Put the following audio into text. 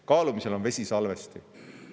Kaalumisel on vesisalvesti.